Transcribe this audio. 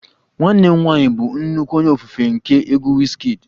Nwanne m nwanyị bụ nnukwu onye ofufe nke egwu Wizkid